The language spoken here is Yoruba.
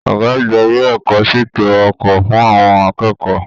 Ọgá àgbà ilé ẹ̀kọ́ ṣètò ọkọ fún àwọn akẹ́kọ̀ọ́.